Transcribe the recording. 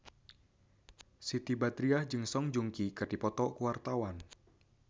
Siti Badriah jeung Song Joong Ki keur dipoto ku wartawan